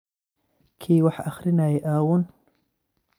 Kii wax akrinaye aawun?